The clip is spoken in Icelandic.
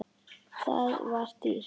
Það var dýrt.